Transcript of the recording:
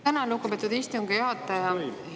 Tänan, lugupeetud istungi juhataja!